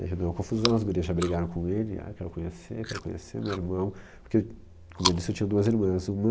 Daí já deu uma confusão, as mulheres já brigaram com ele, ah, quero conhecer, quero conhecer meu irmão, porque, como eu disse, eu tinha duas irmãs, uma...